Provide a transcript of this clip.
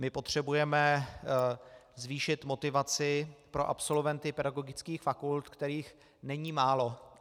My potřebujeme zvýšit motivaci pro absolventy pedagogických fakult, kterých není málo.